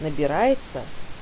набирается